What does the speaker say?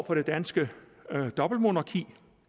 det danske dobbeltmonarki